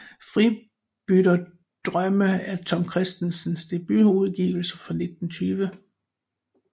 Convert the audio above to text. Fribytterdrømme er Tom Kristensens debutudgivelse fra 1920